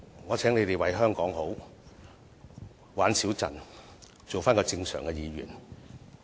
我請泛民議員為香港好，少把弄議會，做正常的議員。